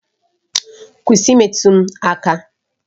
Kwụsị imetụ m aka!